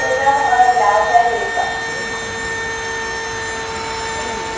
വെളീലോട്ട് ഇറങ്ങത്തില്ല. അകത്തു തന്നെ ഇരിപ്പാ.